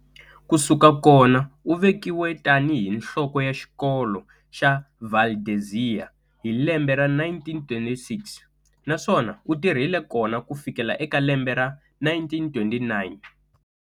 Kusuka kona uvekiwe tani hi nhloko ya xikolo xa Valdezia hi lembe ra 1926, naswona u tirhile kona kufikela eka lembe ra1929.